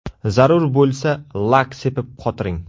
Zarur bo‘lsa, lak sepib qotiring.